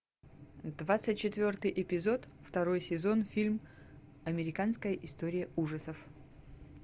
двадцать четвертый эпизод второй сезон фильм американская история ужасов